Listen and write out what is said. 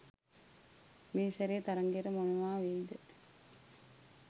මේ සැරේ තරඟයට මොනවා වෙයිද?